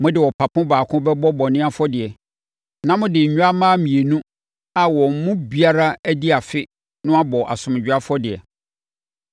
Mode ɔpapo baako bɛbɔ bɔne afɔdeɛ. Na mode nnwammaa mmienu a wɔn mu biara adi afe no abɔ asomdwoeɛ afɔdeɛ.